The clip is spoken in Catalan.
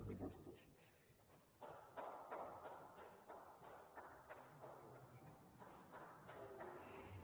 moltes gràcies